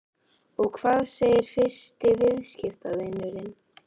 Og hvað segir fyrsti viðskiptavinurinn?